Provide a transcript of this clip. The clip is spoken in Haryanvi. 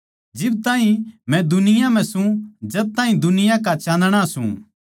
जिब ताहीं मै दुनिया म्ह सूं जद ताहीं दुनिया का चान्दणा सूं